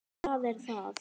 Það er það!